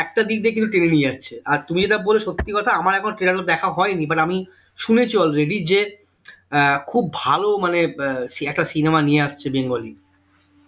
একটা দিক দিয়ে কিন্তু টেনে নিয়ে যাচ্ছে আর তুমি যেটা বলছো সত্যি কথা আমার এখনো trailer ওর দেখা হয়নি but আমি শুনেছি already যে আহ খুব ভালো মানে আহ একটা cinema নিয়ে আসছে bengali